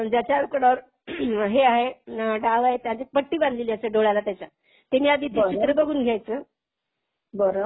आणि ज्याच्याकडे हे आहे. डाव आहे, त्याच्या पट्टी बांधलेली असते डोळ्याला त्याच्या. त्यानी आधी ते चित्र बघून घ्यायचं.